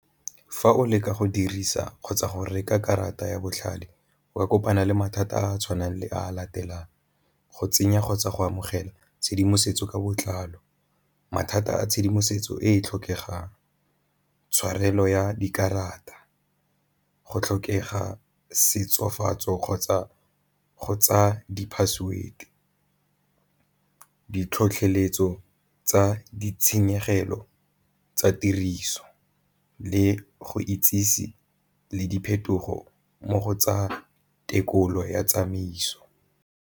Fa o leka go dirisa kgotsa go reka karata ya botlhale o ka kopana le mathata a a tshwanang le a latelang, go tsenya kgotsa go amogela tshedimosetso ka botlalo, mathata a tshedimosetso e e tlhokegang, tshwarelo ya dikarata go tlhokega setsofatso kgotsa go tsa di-password. Ditlhotlheletso tsa ditshenyegelo tsa tiriso le go itsisi le diphetogo mo go tsa tekolo ya tsamaiso.